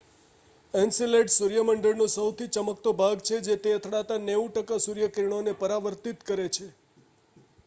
Enceladus સૂર્ય મંડળનો સહુથી ચમકતો ભાગ છે જે તેને અથડાતા 90 ટકા સૂર્યકિરણોને પરાવર્તિત કરે છે